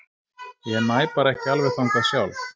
Ég næ bara ekki alveg þangað sjálf.